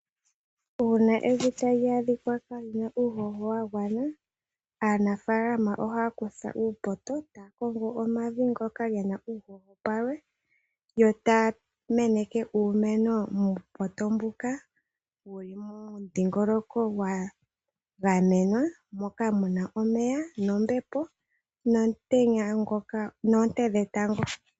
Uuna evi tali adhika lyaana uuhoho wa gwana, aanafaalama ohaya kutha uupoto taya kongo omavi ngoka ge na uuhoho palwe, yo taya meneke uumeno muupoto mbuka wu li momudhingoloko gwa gamenwa moka mu na omeya nombepo noonte dhetango.